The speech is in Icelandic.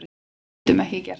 Við getum ekki gert það